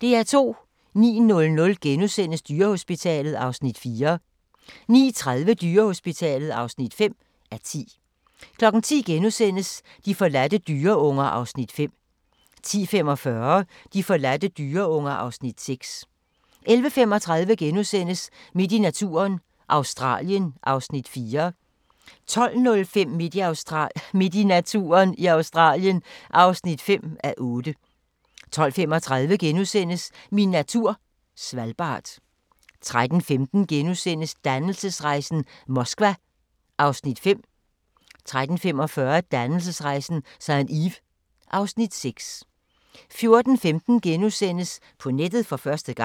09:00: Dyrehospitalet (4:10)* 09:30: Dyrehospitalet (5:10) 10:00: De forladte dyreunger (Afs. 5)* 10:45: De forladte dyreunger (Afs. 6) 11:35: Midt i naturen – Australien (4:8)* 12:05: Midt i naturen – Australien (5:8) 12:35: Min natur - Svalbard * 13:15: Dannelsesrejsen - Moskva (Afs. 5)* 13:45: Dannelsesrejsen – St. Ives (Afs. 6) 14:15: På nettet for første gang! *